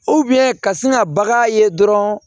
ka sin ka bagan ye dɔrɔn